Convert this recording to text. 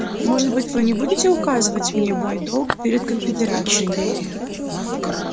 может быть вы не будете указывать мне мой долг перед конфедерацией